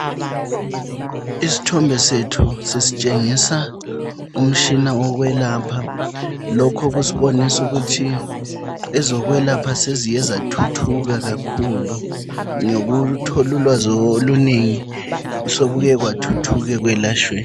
Isithombe sethu sisitshengisa umtshina wokwelapha. Lokhu kusibonisa ukuthi ezokwelapha seziye zathuthuka kakhulu ngokuthola ulwazi olunengi sokuye kwathuthuka ekwelatshweni.